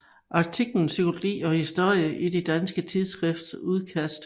Artiklen Psykologi og historie i det danske tidsskrift Udkast